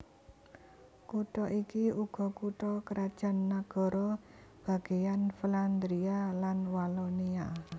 Kutha iki uga kutha krajan nagara bagèyan Flandria lan Walonia